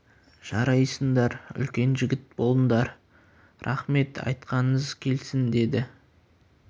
жарайсыңдар үлкен жігіт болыңдар рақмет айтқаныңыз келсін деді